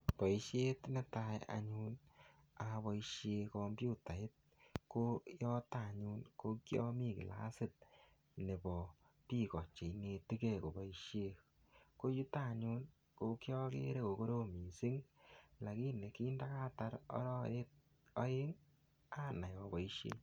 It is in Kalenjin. Boisiet netai anyun aboisien komputait ko yoto anyun ko kiami kilasit nebo biik o che inetegei koboisie. Ko yuta anyun ko kiagere ko korom mising lagini kindagatar arawek aeng anai aboisie.